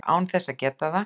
án þess að geta það.